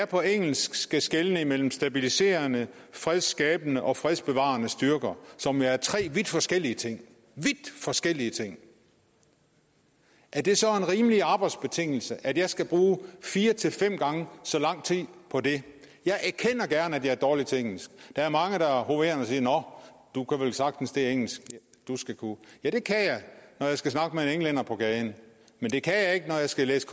på engelsk skal skelne imellem stabiliserende fredsskabende og fredsbevarende styrker som jo er tre vidt forskellige ting forskellige ting er det så en rimelig arbejdsbetingelse at jeg skal bruge fire til fem gange så lang tid på det jeg erkender gerne at jeg er dårlig til engelsk der er mange der er hoverende og siger nå du kan vel sagtens det engelsk du skal kunne ja det kan jeg når jeg skal snakke med en englænder på gaden men det kan jeg ikke når jeg skal læse